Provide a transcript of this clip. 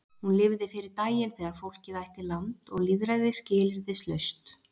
Hún lifði fyrir daginn þegar fólkið ætti land og lýðræði skilyrðislaust.